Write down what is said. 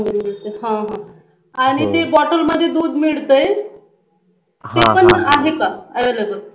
हा हा आणि ते बाॅटल मध्ये दुध मिळतय ते पण आहे का